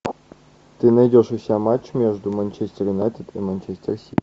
ты найдешь у себя матч между манчестер юнайтед и манчестер сити